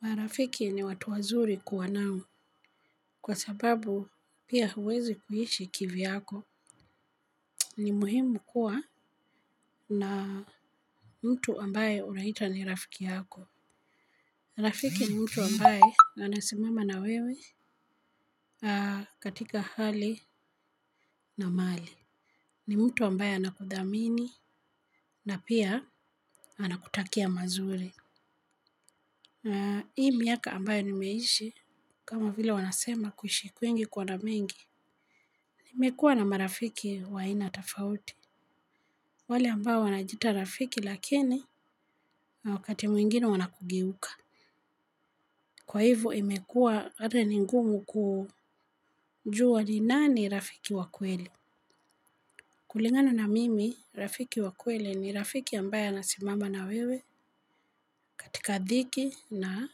Marafiki ni watu wazuri kuwa nao kwa sababu pia huwezi kuishi kivyako ni muhimu kuwa na mtu ambaye unaita ni rafiki yako. Rafiki ni mtu ambaye anasimama na wewe katika hali na mali. Ni mtu ambaye anakudhamini na pia anakutakia mazuri. Hii miaka ambaye nimeishi kama vila wanasema kuishi kwingi kuona mengi. Imekuwa na marafiki wa aina tofauti. Wale ambao wanajiita rafiki lakini na wakati mwingine wanaku geuka. Kwa hivo imekua hata ni ngumu kujua ni nani rafiki wa kweli kukingana na mimi rafiki wa kweli ni rafiki ambaye anasimama na wewe katika dhiki na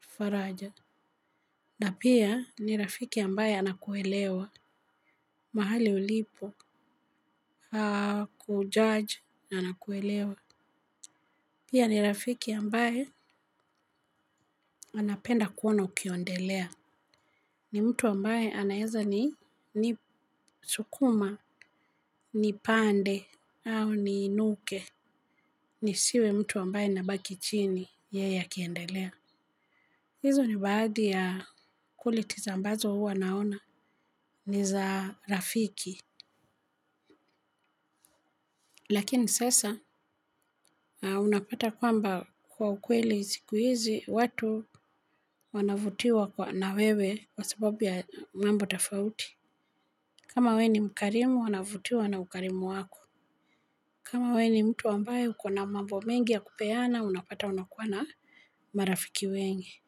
faraja. Na pia ni rafiki ambaye anakuelewa, mahali ulipo, kujaj na anakuelewa. Pia ni rafiki ambaye anapenda kuona ukiondelea. Ni mtu ambaye anaweza ni sukuma, ni pande au ni inuke. Nisiwe mtu ambaye anabaki chini yeye akiendelea. Hizo ni baadhi ya qualities ambazo huwa naona ni za rafiki. Lakini sasa unapata kwamba kwa ukweli zikuhizi watu wanavutiwa kwa na wewe kwa sababu ya mambo tofauti. Kama we ni mkarimu wanavutiwa na ukarimu wako. Kama we ni mtu ambaye uko na mambo mengi ya kupeana unapata unakuwa na marafiki wengi.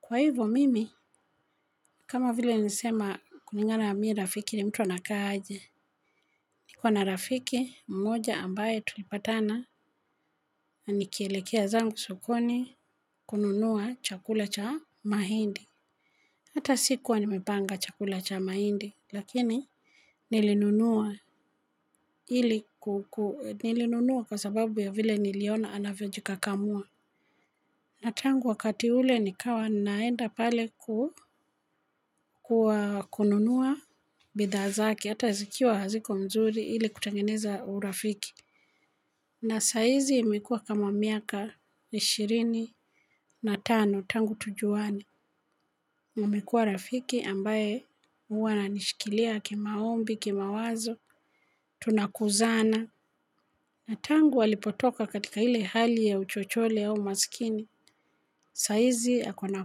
Kwa hivyo mimi, kama vile nilisema kulingana mimi rafiki ni mtu anakaa aje. Niko na rafiki mmoja ambaye tulipatana. Na nikielekea zangu sokoni kununua chakula cha mahindi. Hata sikuwa nimepanga chakula cha mahindi lakini nilinunua. Nilinunua kwa sababu vile niliona anaji kakamua. Na tangu wakati ule nikawa ninaenda pale kwa kununua bidhaa zake. Hata zikiwa haziko mzuri ili kutengeneza urafiki. Na sahizi imekuwa kama miaka ishirini na tano tangu tujuane. Umekua rafiki ambaye huwa ananishikilia kimaombi, kimawazo, tunakuzana. Na tangu alipotoka katika ile hali ya uchochole au umaskini, sahizi ako na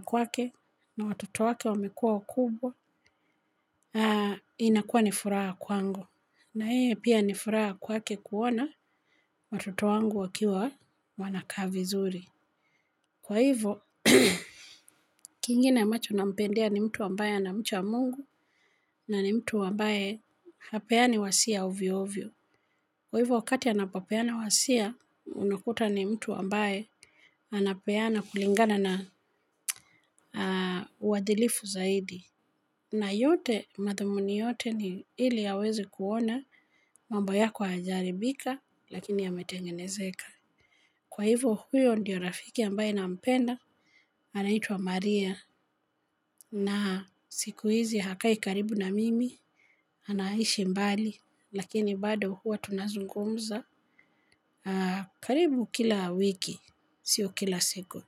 kwake na watoto wake wamekuwa wakubwa, inakuwa ni furaha sana kwangu. Na yeye pia ni furaha kwake kuona watoto wangu wakiwa wanakaa vizuri. Kwa hivo, kingine ambacho nampendea ni mtu ambaye ana mcha mungu na ni mtu ambaye hapeani wasia ovyo ovyo. Kwa hivyo wakati anapapeana wasia, unakuta ni mtu ambaye anapeana kulingana na wadilifu zaidi. Na yote, mathumuni yote ni ili aweze kuona mambo yako hayajaharibika lakini yametengenezeka. Kwa hivyo, huyo ndiyo rafiki ambaye nampenda anaiwa Maria. Na siku hizi hakai karibu na mimi, anaishi mbali, lakini bado huwa tunazungumza. Karibu kila wiki sio kila siku.